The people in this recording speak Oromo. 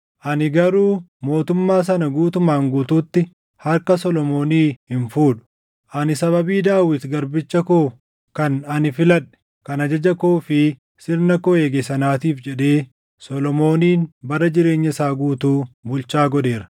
“ ‘Ani garuu mootummaa sana guutumaan guutuutti harka Solomoonii hin fuudhu; ani sababii Daawit garbicha koo kan ani filadhe, kan ajaja koo fi sirna koo eege sanaatiif jedhee Solomoonin bara jireenya isaa guutuu bulchaa godheera.